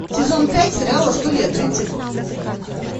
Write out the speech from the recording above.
сезон пять сериала студия тридцать